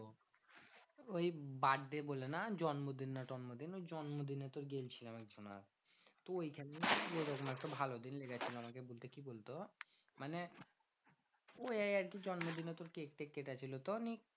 ওই birthday বলে না? জন্মদিন না টন্মদিন ওই জন্মদিনে তোর গিয়েছিলাম একজনার। তো ঐখানেই একটা ভালো দিনকে গেছিলাম আরকি বলতে, কি বলতো? মানে ওইয়াই একটু জন্মদিনে তোর কেক টেক কেটেছিল তো নিয়ে